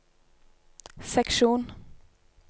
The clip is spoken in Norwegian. seksjon